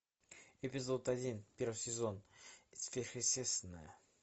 эпизод один первый сезон сверхъестественное